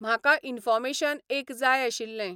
म्हाका इन्फोर्मेशन एक जाय आशिल्लें.